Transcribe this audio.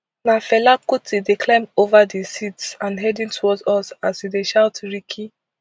na fela kuti dey climb ova di seats and heading towards us as e dey shout rikki